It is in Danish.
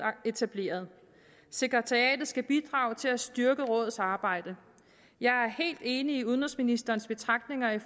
etableret sekretariatet skal bidrage til at styrke rådets arbejde jeg er helt enig i udenrigsministerens betragtninger i